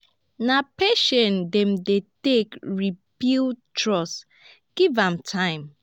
na patience dem dey take re-build trust give am time.